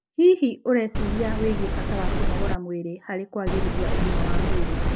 Hihi, ũreciria wĩgie bata wa kũnogora mwĩrĩ harĩ kũagĩrithia ũgima wa mwĩrĩ?